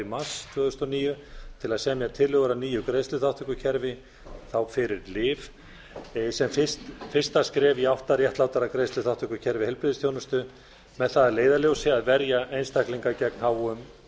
mars tvö þúsund og níu til að semja tillögur að nýju greiðsluþátttökukerfi þá fyrir lyf sem fyrsta skref í átt að réttlátara greiðsluþátttökukerfi heilbrigðisþjónustu með það að leiðarljósi að verja einstaklinga gegn háum